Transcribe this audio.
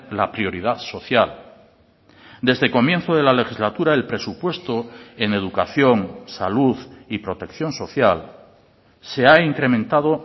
la prioridad social desde comienzo de la legislatura el presupuesto en educación salud y protección social se ha incrementado